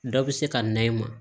Dɔ bɛ se ka na i ma